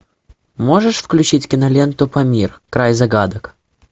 можешь включить киноленту памир край загадок